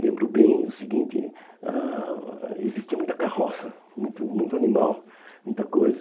Lembro bem o seguinte, ãh existia muita carroça, muito muito animal, muita coisa.